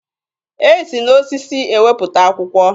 E si n'osisi ewepụta akwụkwọ.